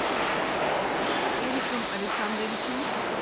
эриком александровичем